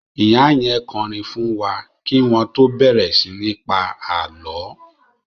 Ìyá yẹn kọrin fún wa kí wọ́n tó bẹ̀rẹ̀ sí ní pa àlọ́